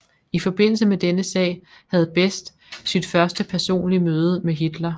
I forbindelse med denne sag havde Best sit første personlige møde med Hitler